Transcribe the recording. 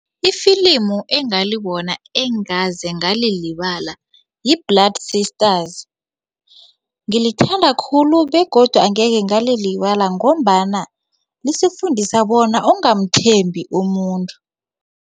Ifilimu engalibona engaze ngalilibala yi-Blood sisters ngilithanda khulu begodu angeke ngalilibala ngombana lisifundisa bona ungamthembi umuntu.